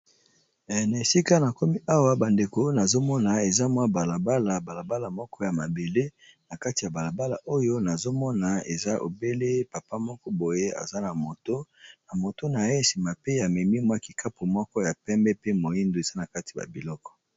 Na esika na komi awa ba ndeko nazo mona eza mwa balabala balabala moko ya mabele. Na kati ya balabala oyo nazo mona eza obele papa moko boye aza na moto. Na moto na ye sima pe amemi mwa kikapu moko ya pembe pe moindo eza na kati ya biloko.